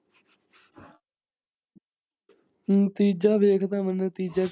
ਮੈਨੂੰ ਨਤੀਜਾ ਵੇਖਦਾ, ਮੈ ਨਤੀਜਾ।